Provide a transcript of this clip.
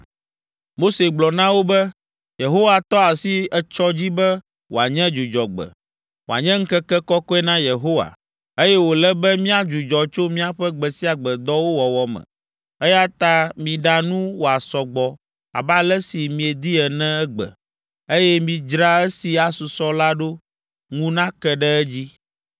Mose gblɔ na wo be, “Yehowa tɔ asi etsɔ dzi be wòanye dzudzɔgbe, wòanye ŋkeke kɔkɔe na Yehowa, eye wòle be míadzudzɔ tso míaƒe gbe sia gbe dɔwo wɔwɔ me, eya ta miɖa nu wòasɔ gbɔ abe ale si miedi ene egbe, eye midzra esi asusɔ la ɖo ŋu nake ɖe edzi.”